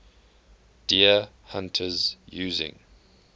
deer hunters using